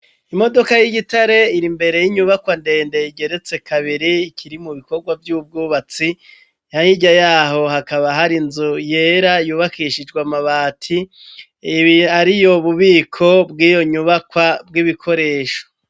Imodoka y'igitare iri mbere y'inyubakwandende yigeretse kabiri ikiri mu bikorwa vy'ubwubatsi hahirya yaho hakaba hari inzu yera yubakishijwe amabati ibi ari yo bubiko bw'iyo nyubakwa bw'ibikoresho.